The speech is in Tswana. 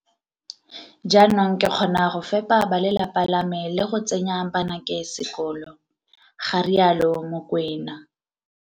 Jaanong ke kgona go fepa bale lapa la me le go tsenya banake sekolo, ga rialo Mokoena.